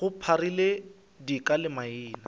go pharile dika le maina